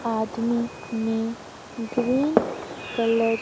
आदमी ने green colour.